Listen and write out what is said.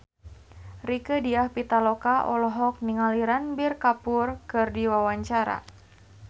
Rieke Diah Pitaloka olohok ningali Ranbir Kapoor keur diwawancara